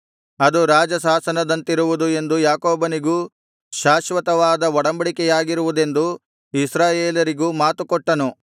ಅದು ರಾಜಶಾಸನದಂತಿರುವುದು ಎಂದು ಯಾಕೋಬನಿಗೂ ಶಾಶ್ವತವಾದ ಒಡಂಬಡಿಕೆಯಾಗಿರುವುದೆಂದು ಇಸ್ರಾಯೇಲರಿಗೂ ಮಾತುಕೊಟ್ಟನು